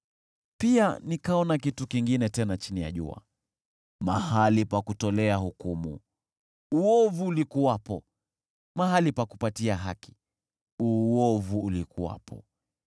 Pia nikaona kitu kingine tena chini ya jua: Mahali pa kutolea hukumu, uovu ulikuwepo, mahali pa kupatia haki, uovu ulikuwepo.